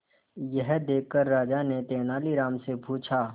यह देखकर राजा ने तेनालीराम से पूछा